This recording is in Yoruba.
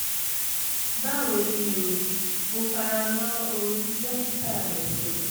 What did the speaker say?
báwo ni o? mo fara mọ́ ohun tí dókítà rẹ sọ